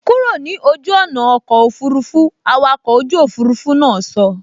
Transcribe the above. Kúrò ní ojú ọ̀nà ọkọ̀ òfurufú, awakọ̀ ojú òfurufú náà sọ